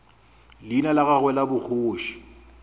leina la gagwe la bogoši